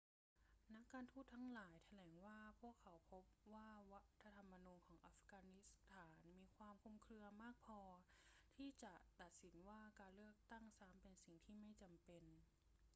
นักการทูตทั้งหลายแถลงว่าพวกเขาพบว่ารัฐธรรมนูญของอัฟกานิสถานมีความคลุมเครือมากพอที่จะตัดสินว่าการเลือกตั้งซ้ำเป็นสิ่งที่ไม่จำเป็น